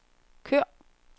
kør